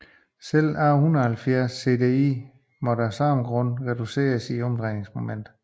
Selv A 170 CDI måtte af samme grund reduceres i drejningsmoment